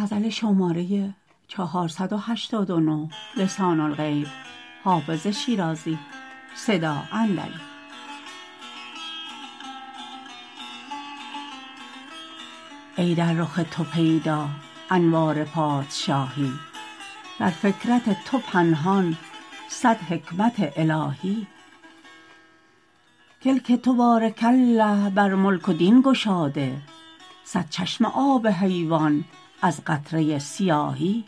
ای در رخ تو پیدا انوار پادشاهی در فکرت تو پنهان صد حکمت الهی کلک تو بارک الله بر ملک و دین گشاده صد چشمه آب حیوان از قطره سیاهی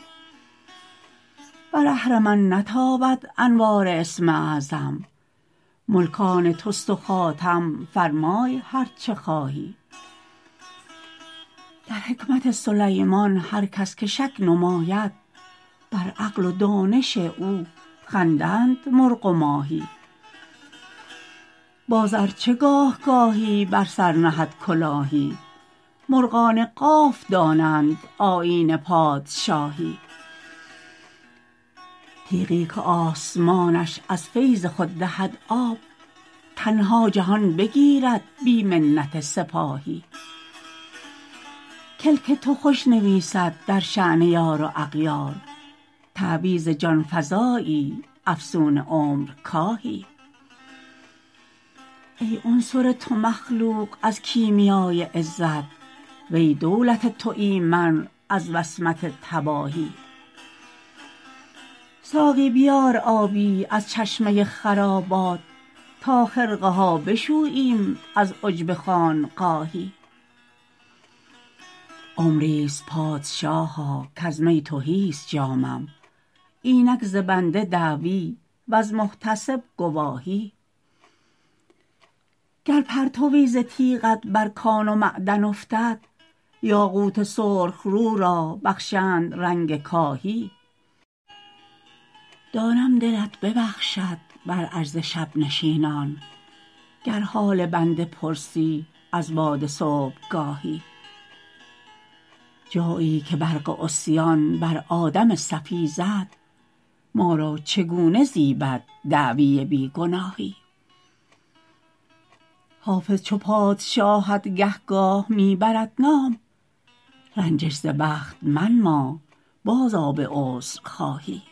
بر اهرمن نتابد انوار اسم اعظم ملک آن توست و خاتم فرمای هر چه خواهی در حکمت سلیمان هر کس که شک نماید بر عقل و دانش او خندند مرغ و ماهی باز ار چه گاه گاهی بر سر نهد کلاهی مرغان قاف دانند آیین پادشاهی تیغی که آسمانش از فیض خود دهد آب تنها جهان بگیرد بی منت سپاهی کلک تو خوش نویسد در شأن یار و اغیار تعویذ جان فزایی افسون عمرکاهی ای عنصر تو مخلوق از کیمیای عزت و ای دولت تو ایمن از وصمت تباهی ساقی بیار آبی از چشمه خرابات تا خرقه ها بشوییم از عجب خانقاهی عمری ست پادشاها کز می تهی ست جامم اینک ز بنده دعوی وز محتسب گواهی گر پرتوی ز تیغت بر کان و معدن افتد یاقوت سرخ رو را بخشند رنگ کاهی دانم دلت ببخشد بر عجز شب نشینان گر حال بنده پرسی از باد صبحگاهی جایی که برق عصیان بر آدم صفی زد ما را چگونه زیبد دعوی بی گناهی حافظ چو پادشاهت گهگاه می برد نام رنجش ز بخت منما بازآ به عذرخواهی